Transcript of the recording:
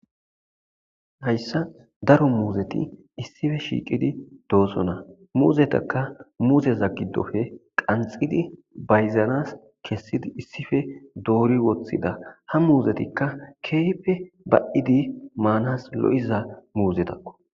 Haysan Daro muzeti Isiphe shiqidi Dosona. Muzetaka muzetaka muzeza gidophe qanxxidine kesidi wothida. ha uzetika kehipe ba'di manas lo'iza muzetako.